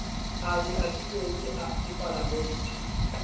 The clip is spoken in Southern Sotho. a le abilweng ke palamente